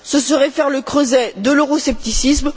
Ce serait faire le lit de l'euroscepticisme.